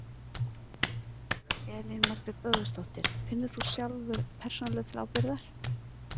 Elín Margrét Böðvarsdóttir: Finnur þú sjálfur persónulega til ábyrgðar?